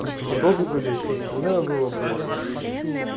и передозы были и все остальное было и блять и блять